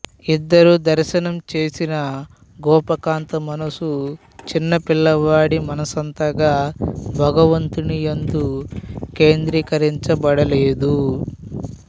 ఇద్దరూ దర్శనం చేసినా గోపకాంత మనసు చిన్నపిల్లవాడి మనస్సంతగా భగవంతుని యందు కేంద్రీకరించబడలేదు